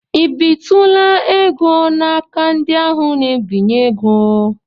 I bitụla ego n'aka ndị aapụ na-ebinye ego?